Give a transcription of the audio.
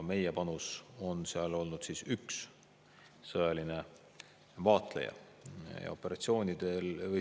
Meie panus on seal olnud üks sõjaline vaatleja.